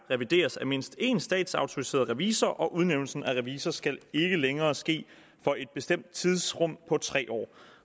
revideres af mindst en statsautoriseret revisor og udnævnelsen af revisor skal ikke længere ske for et bestemt tidsrum på tre år